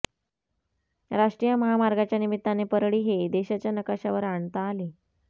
राष्ट्रीय महामार्गाच्या निमित्ताने परळी हे देशाच्या नकाशावर आणता आले